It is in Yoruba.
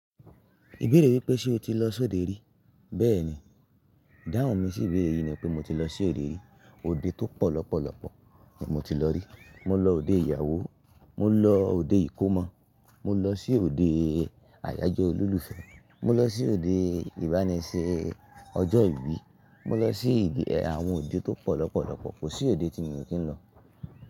Ibeere wipe ṣe oti lo s'ode ri? Bee ni, dahun mi si ibeere yii ni pe mo ti lo si ode ri. Ode to po lopolopo ni mo ti lo ri. Mo lo ode iyawo, mo lo ode ikomo, mo lo si ode ayajo ololufẹ, mo lo si ode ibani ṣe ojo ibi, mo lo si awọn ode to po lopolopo, ko si ode ti mo ki n lo.